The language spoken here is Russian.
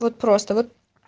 вот просто вот